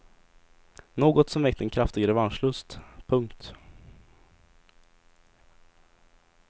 Något som väckt en kraftig revanschlust. punkt